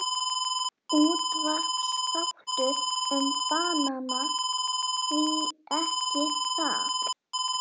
Útvarpsþáttur um banana, því ekki það?